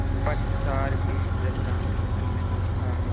पश्चार भी जब रामचंद्र नहीं उठा